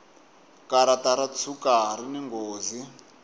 karata ro tshuka rini nghozi